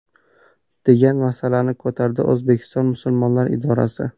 degan masalani ko‘tardi O‘zbekiston musulmonlari idorasi.